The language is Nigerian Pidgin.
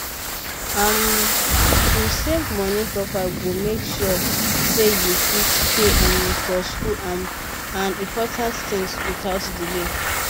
um to save moni proper go make sure say you fit pay um for school um and important things without delay